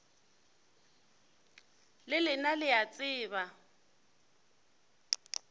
le lena le a tseba